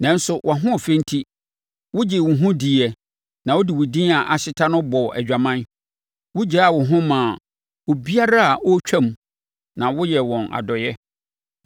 “ ‘Nanso wʼahoɔfɛ enti, wogyee wo ho diiɛ na wode wo din a ahyeta no bɔɔ adwaman. Wogyaa wo ho maa obiara a ɔretwam na woyɛɛ wɔn adɔeɛ.